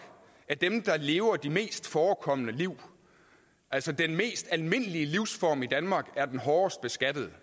er dem der lever de mest forekommende liv altså den mest almindelige livsform i danmark er den hårdest beskattede